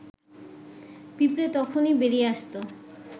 পিঁপড়ে তখুনি বেরিয়ে আসত